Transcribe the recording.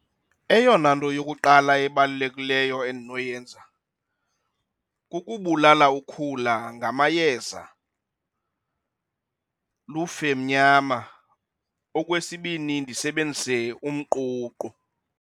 Eyona nto yokuqala ebalulekileyo endinoyenza kukubulala ukhula ngamayeza, lufe mnyama. Okwesibini ndisebenzise umququ.